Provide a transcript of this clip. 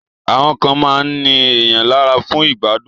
Àwọn kan máa ń ní èèyàn lára fún ìgbádùn